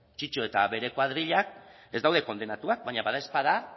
eta bere koadrilak daude kondenatuak baina badaezpada